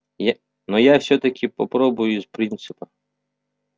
я но я всё-таки попробую из принципа